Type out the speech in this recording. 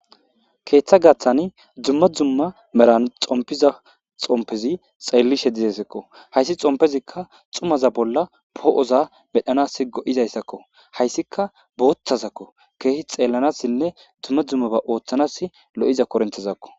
keeththa gaththani dzumma dzumma meran xompiza xompezi xeellishe dizesekko haysi xompezikka xumaza bolla poo7oza medhanas go7izayssakko hayssika boothasakko keehi xeellanassinne dzumma dzumma ba ooththanas lo7iza korinthezakko